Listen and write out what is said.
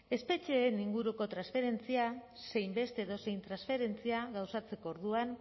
espetxeen inguruko transferentzia zein beste edozein transferentzia gauzatzeko orduan